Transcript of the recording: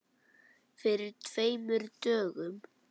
Fyrir tveimur dögum?